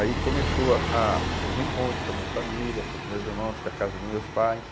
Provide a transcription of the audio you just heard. Aí começou a o reencontro com a minha família, com os meus irmãos, com a casa dos meus pais.